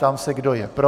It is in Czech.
Ptám se, kdo je pro.